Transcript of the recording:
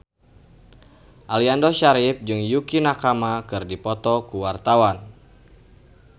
Aliando Syarif jeung Yukie Nakama keur dipoto ku wartawan